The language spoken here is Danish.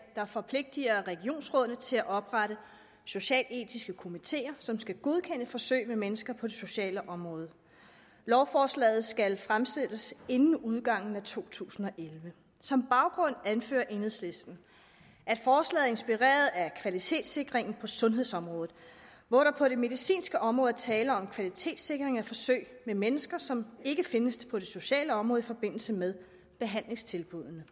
der forpligter regionsrådene til at oprette socialetiske komiteer som skal godkende forsøg med mennesker på det sociale område lovforslaget skal fremsættes inden udgangen af to tusind og elleve som baggrund anfører enhedslisten at forslaget er inspireret af kvalitetssikringen på sundhedsområdet hvor der på det medicinske område er tale om en kvalitetssikring af forsøg med mennesker som ikke findes på det sociale område i forbindelse med behandlingstilbuddene